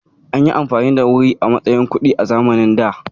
Anyi anfani da wuri a matsayin kuɗi a zamanin da.